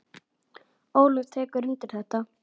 Ólöf tekur undir þetta.